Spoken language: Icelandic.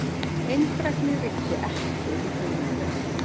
Eindrægni ríkti ekki um hugmyndina.